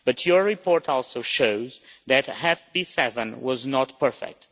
Your report also shows that FP7 was not perfect.